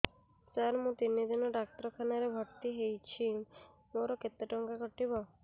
ସାର ମୁ ତିନି ଦିନ ଡାକ୍ତରଖାନା ରେ ଭର୍ତି ହେଇଛି ମୋର କେତେ ଟଙ୍କା କଟିବ